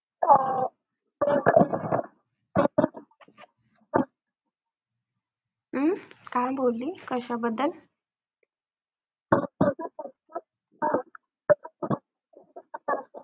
हम्म काय बोलली, कशाबद्दल? .